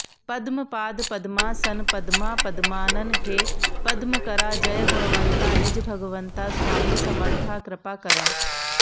पद्मपाद पद्मासन पद्मा पद्मानन हे पद्मकरा जय गुणवंता निज भगवंता स्वामी समर्था कृपाकरा